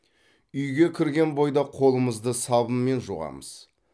үйге кірген бойда қолымызды сабынмен жуамыз